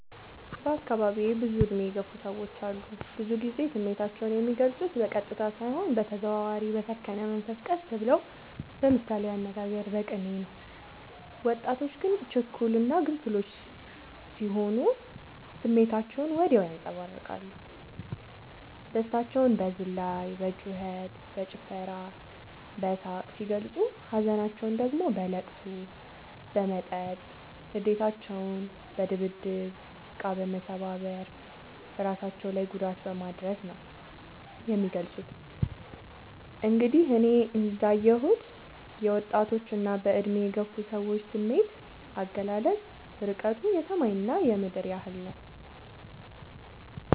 በአካባቢዬ ብዙ እድሜ የገፉ ሰዎች አሉ። ብዙ ግዜ ስሜታቸው የሚልፁት በቀጥታ ሳይሆን በተዘዋዋሪ በሰከነ መንፈስ ቀስ ብለው በምሳሌያዊ አነጋገር በቅኔ ነው። ወጣቶች ግን ችኩል እና ግንፍሎች ስሆኑ ስሜታቸውን ወዲያው ያንፀባርቃሉ። ደስታቸውን በዝላይ በጩከት በጭፈራ በሳቅ ሲገልፁ ሀዘናቸውን ደግሞ በለቅሶ በመጠጥ ንዴታቸውን በድብድብ እቃ መሰባበር እራሳቸው ላይ ጉዳት በማድረስ ነው የሚገልፁት። እንግዲህ እኔ እንዳ የሁት የወጣቶች እና በእድሜ የገፉ ሰዎች ስሜት አገላለፅ እርቀቱ የሰማይ እና የምድር ያህል ነው።